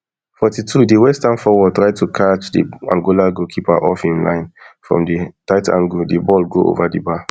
forty-two di westham forward try to catach di angola keeper off im line from di tight angle di ball go ova di bar